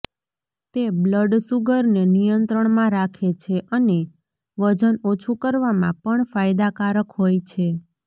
તે બ્લડ શુગરને નિયંત્રણમાં રાખે છે અને વજન ઓછું કરવામાં પણ ફાયદાકારક હોય છે